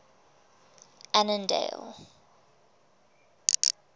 annandale